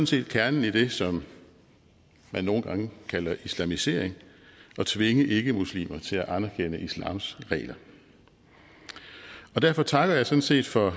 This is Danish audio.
set kernen i det som man nogle gange kalder islamisering at tvinge ikkemuslimer til at anerkende islams regler derfor takker jeg sådan set for